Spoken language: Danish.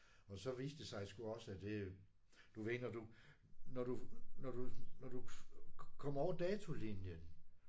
Og så viste det sig sgu også at det du ved når du når du når du når du kommer over datolinjen